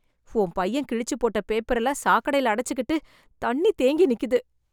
உன் பையன் கிழிச்சுப் போட்ட பேப்பரெல்லாம் சாக்கடைல அடைச்சுகிட்டு, தண்ணி தேங்கி நிக்குது...